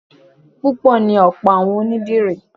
Obìnrin ni ọ̀pọ̀ àwọn onídìrí